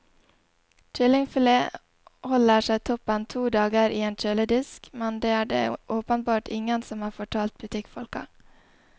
Kyllingfilet holder seg toppen to dager i en kjøledisk, men det er det åpenbart ingen som har fortalt butikkfolka.